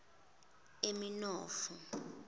aminofi